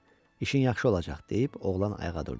İşin yaxşı olacaq deyib, oğlan ayağa durdu.